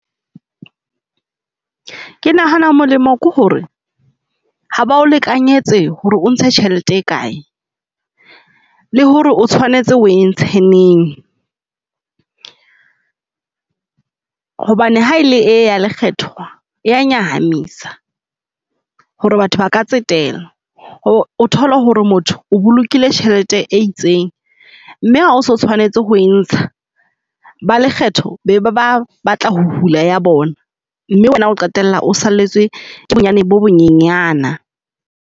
Ke nahana molemo ke hore ha ba o lekanyetse hore o ntshe tjhelete e kae le hore o tshwanetse o e ntshe neng. Hobane ha ele ee ya lekgetho ya nyahamisa hore batho ba ka tsetela o thole hore motho o bolokile tjhelete e itseng mme ha o so tshwanetse ho e ntsha ba lekgetho be ba batla ho hula ya bona. Mme wena o qetella o salletswe ke bonyane bo bo nyenyana.